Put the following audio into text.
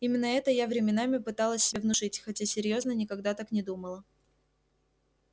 именно это я временами пыталась себе внушить хотя серьёзно никогда так не думала